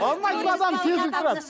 алмайтын адам сезіліп тұрады